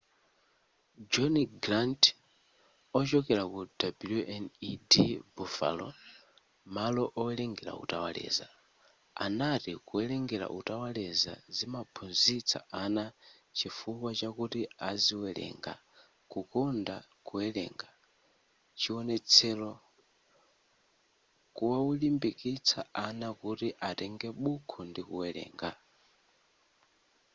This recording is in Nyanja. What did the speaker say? john grant ochokera ku wned buffalo malo owerenga utawaleza anati kuwerenga utawaleza zimamphunzitsa ana chifukwa chakuti aziwerenga ...kukonda kuwerenga-[chiwonetsero] kuwalimbikitsa ana kuti atenge buku ndi kuwerenga.